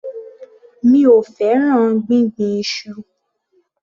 Mi ò fẹ́ràn gbíngbin iṣu.